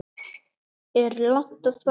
Er langt að fara?